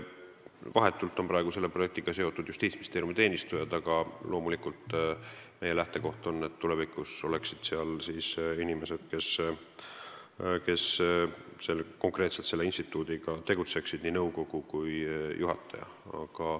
Praegu on selle projektiga vahetult seotud Justiitsministeeriumi teenistujad, aga loomulikult meie lähtekoht on selline, et tulevikus oleksid seal inimesed, kes konkreetselt selle instituudiga tegutseksid ehk nii nõukogu kui ka juhataja.